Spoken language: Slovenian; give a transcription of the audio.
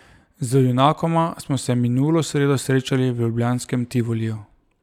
Z junakoma smo se minulo sredo srečali v ljubljanskem Tivoliju.